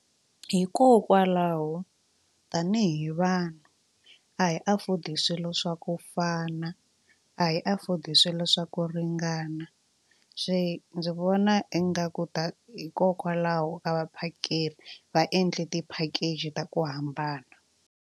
Hikokwalaho tanihi vanhu a hi afford-i swilo swa ku fana a hi afford-i swilo swa ku ringana se ndzi vona ingaku ta hikokwalaho ka vaphakeri va endle ti-package ta ku hambana.